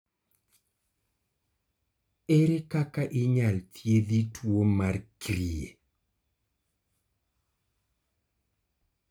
erer kaka inyal thiedhi tuo mar Kyrle?